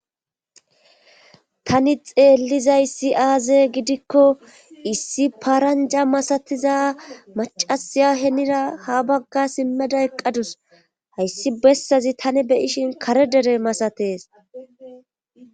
tani xeellizay si aaze gidikko issi paranja masatiza macasiya henira ha bagga simmeda eqqadus hayssi bessazi tani beyishin kare dere masates